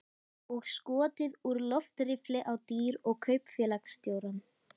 Og skotið úr loftriffli á dýr og kaupfélagsstjórann.